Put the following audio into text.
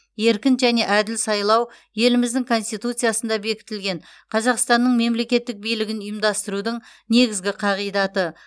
еркін және әділ сайлау еліміздің конституциясында бекітілген қазақстанның мемлекеттік билігін ұйымдастырудың негізгі қағидаты